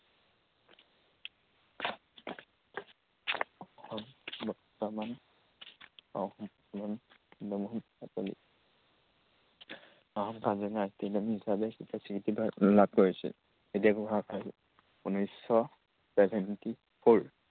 বৰ্তমান, অসম চন্দ্ৰমোহন পাটোৱাৰী। অসমৰ কাজিৰঙা ৰাষ্ট্ৰীয় উদ্যান হিচাপে কেতিয়া স্বীকৃিত লাভ কৰিছিল। উনৈশ শ seventy four